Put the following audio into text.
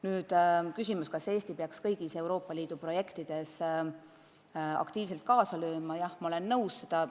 Kui on küsimus, kas Eesti peaks kõigis Euroopa Liidu projektides aktiivselt kaasa lööma, siis jah, ma olen nõus.